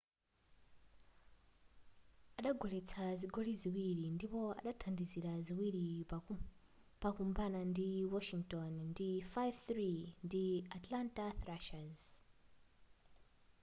adagoletsa zigoli ziwiri ndipo adathandizira ziwili pakumbana kwa washington ndi 5-3 ndi atlanta thrashers